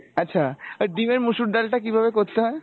আচ্ছা আর ডিমের মসুর ডালটা কিভাবে করতে হয়?